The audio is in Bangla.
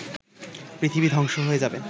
পৃথিবী ধ্বংস হয়ে যাবে